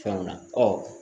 Fɛnw na